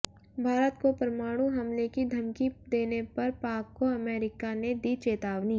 भारत को परमाणु हमले की धमकी देने पर पाक को अमेरिका ने दी चेतावनी